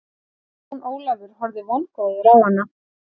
Jón Ólafur horfði vongóður á hana.